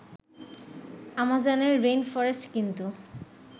আমাজনের rainforest কিন্তু